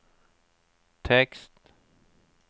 tekst